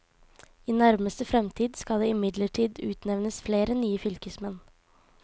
I nærmeste fremtid skal det imidlertid utnevnes flere nye fylkesmenn.